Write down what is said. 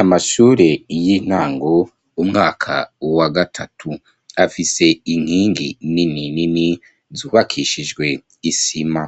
Amashure y'intango, umwaka wa gatatu afise inkingi nini nini zubakishijwe isima